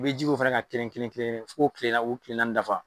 I be ji ko fɛnɛ ka kilen kilen-kilen f'i k'o tile naani k'o kile naani dafa.